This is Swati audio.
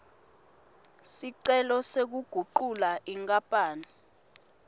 sicelo sekugucula inkapani